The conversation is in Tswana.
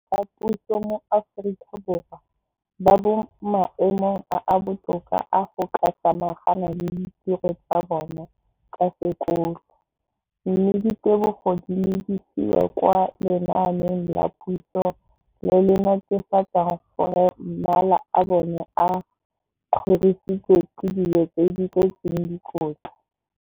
Dikolo tsa puso mo Aforika Borwa ba mo maemong a a botoka a go ka samagana le ditiro tsa bona tsa sekolo, mme ditebogo di lebisiwa kwa lenaaneng la puso le le netefatsang gore mala a bona a kgorisitswe ka dijo tse di tletseng dikotla.